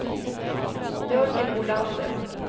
Jörgen Olander